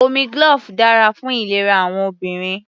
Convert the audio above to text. Omi glove dára fún ìlera àwọn obìnrin.